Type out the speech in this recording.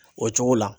O cogo la